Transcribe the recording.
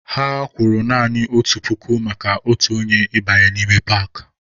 Ha kwụrụ naanị otu puku maka otu onye ịbanye n'ime paakị.